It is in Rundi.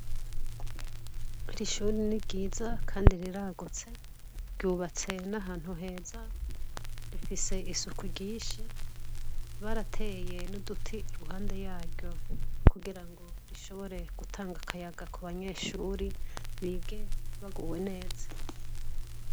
Irishuri ni ryiza, kandi riragutse ryubatse n'ahantu heza rifise isuku ryinshi barateye n'uduti iruhande yaryo kugira ngo rishobore gutanga akayaga ku banyeshuri bige baguwe neza.